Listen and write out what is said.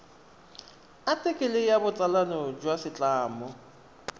athikele ya botsalano jwa setlamo